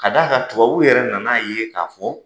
K'a d'a kan tubabu yɛrɛ nana ye k'a fɔ,